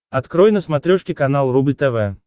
открой на смотрешке канал рубль тв